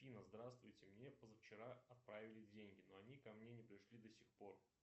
афина здравствуйте мне позавчера отправили деньги но они ко мне не пришли до сих пор